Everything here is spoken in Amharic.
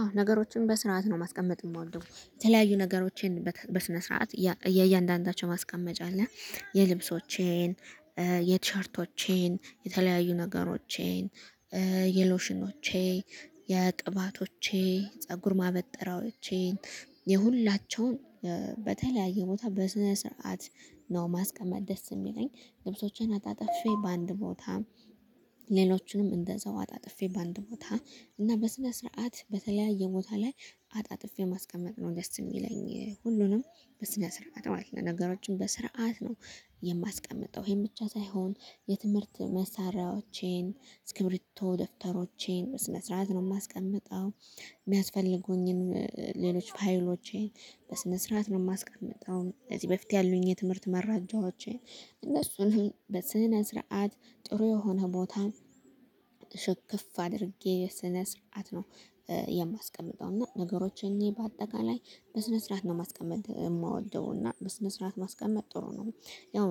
አዎ ነገሮችን በስርዓት ነው ማስቀመጥ የምወደው የተለያዩ ነገሮችን በስነ ስርዓት የእያንዳንዳቸው ማስቀመጫ አለ። የልብሶቼን የቲሸርቶቼን የተለያዩ ነገሮቼን የሎሽኖቼ የቅባቶቼ ፀጉር ማበጠራዎቼን የሁላቸውን በተለያየ ቦታ በስነ ስርዓት ነው ማስቀመጥ ደስ የሚለኝ። ልብሶቼን አጣጥፌ በአንድ ቦታ ሌሎቹንም እንደዛው አጣጥፌ በአንድ ቦታ እና በስነ ስርዓት በተለያየ ቦታ ላይ አጣጥፌ ማስቀመጥ ነው ደስ የሚለኝ። ሁሉንም በስነ ስርዓት ማለት ነው። ነገሮችን በስርዓት ነው የማስቀምጠው ይሄን ብቻ ሳይሆን የትምህርት መሳሪያዎቼን እስክርቢቶ ደፍተሮቼን ስነ ስርዓት ነው የማስቀምጠው። የሚያስፈልጉኝን ሌሎች ፋይሎቼን በስነ ስርዓት ነው የማስቀምጠው። ከዚህ በፊት ያሉኝ የትምህርት መረጃዎቼን እነሱንም በስነ ስርዓት ጥሩ የሆነ ቦታ ሽክፍ አድርጌ በስነ ስርዓት ነው የማስቀምጠው። እና ነገሮችን በአጠቃላይ በስነ ስርዓት ነው ማስቀመጥ የምወደው እና በስነ ስርዓት ማስቀመጥ ጥሩ ነው። ያው